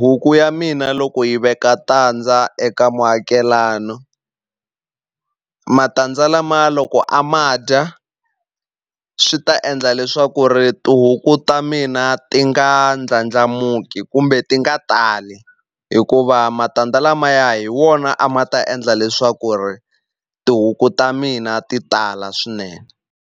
huku ya mina loko yi veka tandza eka muakelana matandza lamaya loko a ma dya swi ta endla leswaku ri tihuku ta mina ti nga ndlandlamuki kumbe ti nga tali hikuva matandza lamaya hi wona a ma ta endla leswaku ri tihuku ta mina ti tala swinene.